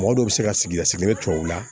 Mɔgɔ dɔ bɛ se ka sigi a sigilen tubabu la